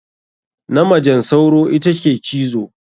Na majen sauro ita ke cizo.